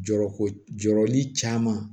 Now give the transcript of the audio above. Jɔrɔ ko jɔrɔli caman